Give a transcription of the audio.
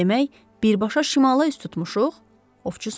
Demək birbaşa şimala üz tutmuşuq, ovçu soruşdu.